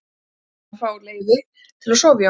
Þær ætluðu að reyna að fá leyfi til að sofa í honum.